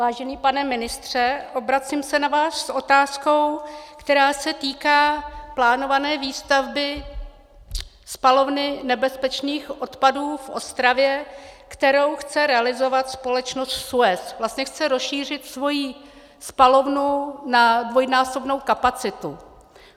Vážený pane ministře, obracím se na vás s otázkou, která se týká plánované výstavby spalovny nebezpečných odpadů v Ostravě, kterou chce realizovat společnost SUEZ, vlastně chce rozšířit svoji spalovnu na dvojnásobnou kapacitu.